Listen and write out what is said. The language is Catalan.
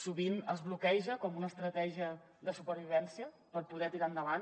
sovint es bloqueja com una estratègia de supervivència per poder tirar endavant